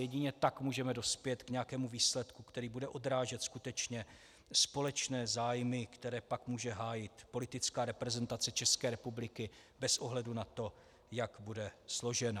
Jedině tak můžeme dospět k nějakému výsledku, který bude odrážet skutečně společné zájmy, které pak může hájit politická reprezentace České republiky bez ohledu na to, jak bude složena.